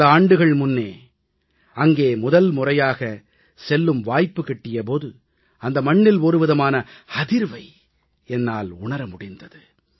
பல ஆண்டுகள் முன்னே அங்கே முதல் முறையாக அங்கே செல்லும் வாய்ப்புக் கிட்டிய போது அந்த மண்ணில் ஒருவிதமான அதிர்வை என்னால் உணர முடிந்தது